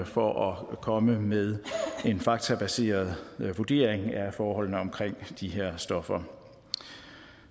for at komme med en faktabaseret vurdering af forholdene omkring de her stoffer